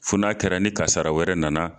Fo n'a kɛra ni kasara wɛrɛ nana